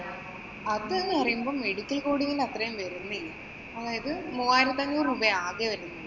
അത് എന്ന് പറയുമ്പോ medical coding ന്‍റെ അത്രയും വരുന്നില്ല. അതായത് മൂവായിരത്തി അഞ്ഞൂറ് രൂപയാ ആകെ വരുന്നത്.